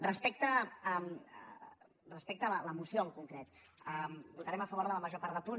respecte a la moció en concret votarem a favor de la major part de punts